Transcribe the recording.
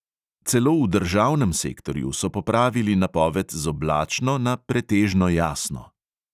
Celo v državnem sektorju so popravili napoved z oblačno na pretežno jasno.